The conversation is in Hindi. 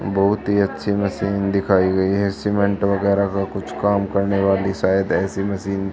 बहुत ही अच्छी मशीन दिखाई गई है सीमेंट वगैरह का कुछ काम करने वाली शायद ऐसी मशीन --